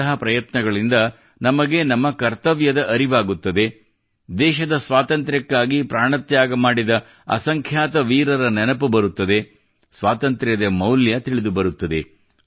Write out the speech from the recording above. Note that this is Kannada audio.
ಇಂತಹ ಪ್ರಯತ್ನಗಳಿಂದ ನಮಗೆ ನಮ್ಮ ಕರ್ತವ್ಯದ ಅರಿವಾಗುತ್ತದೆ ದೇಶದ ಸ್ವಾತಂತ್ರ್ಯಕ್ಕಾಗಿ ಪ್ರಾಣತ್ಯಾಗ ಮಾಡಿದ ಅಸಂಖ್ಯಾತ ವೀರರ ನೆನಪು ಬರುತ್ತದೆ ಸ್ವಾತಂತ್ರ್ಯದ ಮೌಲ್ಯ ತಿಳಿದುಬರುತ್ತದೆ